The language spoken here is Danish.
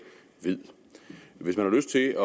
ved hvis man har lyst til